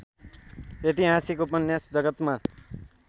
ऐतिहासिक उपन्यास जगतमा